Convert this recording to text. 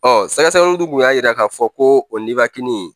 Ɔ sɛgɛsɛgɛli du y'a yira k'a fɔ ko o nibini